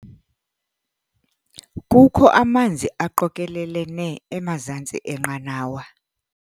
Kukho amanzi aqokelelene emazantsi enqanawa.